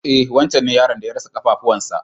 E wancen ne yaron da ya rasa ƙafafuwan sa.